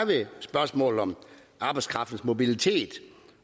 spørgsmålet om arbejdskraftens mobilitet